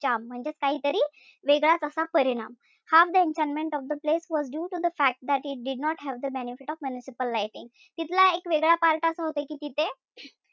Charm म्हणजेच काहीतरी वेगळाच असा परिणाम. Half the enchantment was due to the fact that it did not have the benefit of municipal lighting तिथला एक वेगळा part असा होता कि तिथे,